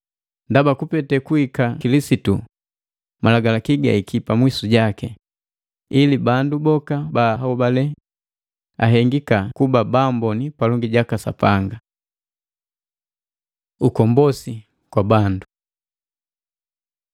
Ndaba kupete kuhika Kilisitu Malagalaki gahiki pamwisu jaki, ili bandu boka ba ahobale ahengika kuba baamboni palongi jaka Sapanga. Ukombosi kwa bandu boti